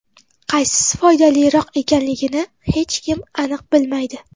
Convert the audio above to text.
Qaysisi foydaliroq ekanligini hech kim aniq bilmaydi.